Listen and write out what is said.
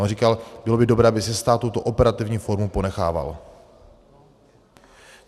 On říkal, bylo by dobré, aby si stát tuto operativní formu ponechával.